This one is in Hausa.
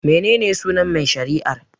Mene ne sunan mai shari'ar?